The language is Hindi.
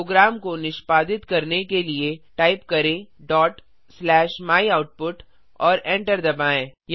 प्रोग्राम को निष्पादित करने के लिए टाइप करें डॉट स्लैश myoutput और एंटर दबाएँ